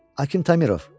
Akim Tamirov.